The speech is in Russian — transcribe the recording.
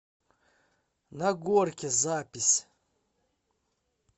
на горке запись